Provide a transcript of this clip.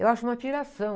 Eu acho uma piração.